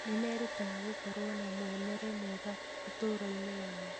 Nĩ merutaga gũkorwo na muonere mwega ũtũũro-inĩ wao.